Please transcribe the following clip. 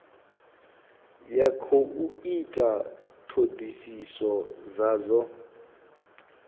ya khou ita thodisiso dzadzo